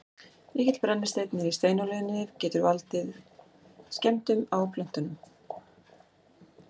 mikill brennisteinn í steinolíunni getur valdið skemmdum á plöntunum